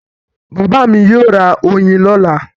Bàbá mi yóò ra oyin lọ́la.